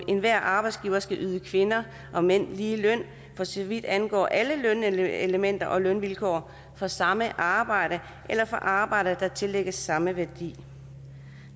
enhver arbejdsgiver skal yde kvinder og mænd lige løn for så vidt angår alle lønelementer og lønvilkår for samme arbejde eller for arbejde der tillægges samme værdi